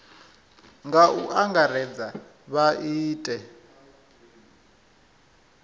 nga u angaredza vha ite